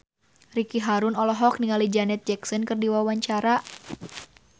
Ricky Harun olohok ningali Janet Jackson keur diwawancara